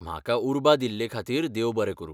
म्हाका उर्बा दिल्लेखातीर देव बरें करूं.